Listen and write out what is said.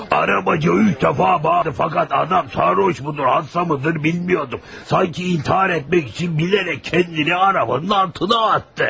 Arabacı üç dəfə bağırdı, fəqət adam sərxoşmudur, ağılsızmıdır bilmirdim, sanki intihar etmək üçün bilərək özünü arabanın altına atdı.